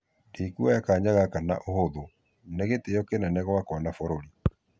"Ndĩkuoya kanya gaka na ũhũthu ,nĩ gĩtĩo kĩnene gwakwa na fũrũri.